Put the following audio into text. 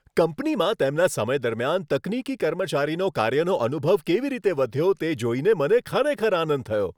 કંપનીમાં તેમના સમય દરમિયાન તકનીકી કર્મચારીનો કાર્યનો અનુભવ કેવી રીતે વધ્યો તે જોઈને મને ખરેખર આનંદ થયો.